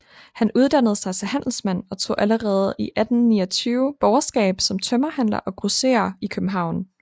Han uddannede sig til handelsmand og tog allerede 1829 borgerskab som tømmerhandler og grosserer i København